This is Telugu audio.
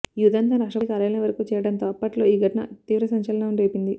ఈ ఉదంతం రాష్ట్రపతి కార్యాలయం వరకు చేరడంతో అప్పట్లో ఈ ఘటన తీవ్ర సంచలనం రేపింది